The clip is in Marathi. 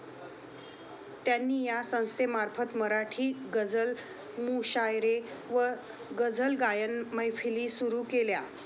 त्यांनी या संस्थेमार्फत मराठी गझल मुशायरे व गझलगायन मैफिली सुरु केल्या.